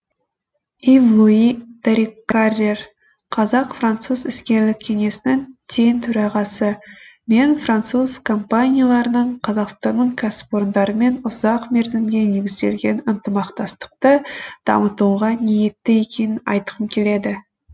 ив луи даррикаррер қазақ француз іскерлік кеңесінің тең төрағасы мен француз компанияларының қазақстанның кәсіпорындарымен ұзақ мерзімге негізделген ынтымақтастықты дамытуға ниетті екенін айтқым келеді